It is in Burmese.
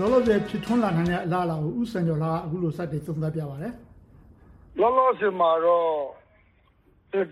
လောလောဆယ် ဖြစ်ထွန်းလာနိုင်တဲ့ အလားအလာကို ဦးစံကျော်လှက အခုလို စတင်သုံးသပ်ပြပါတယ်။ လောလောဆယ်မှာတော့